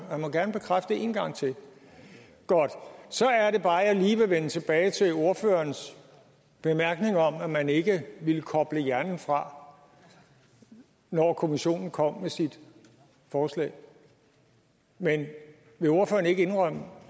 han må gerne bekræfte det en gang til godt så er det bare jeg lige vil vende tilbage til ordførerens bemærkning om at man ikke ville koble hjernen fra når kommissionen kom med sit forslag men vil ordføreren ikke indrømme